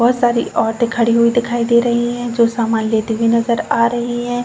बहौत सारी औरतें खड़ी हुई दिखाई दे रही हैं जो सामान लेते हुए नजर आ रही हैं।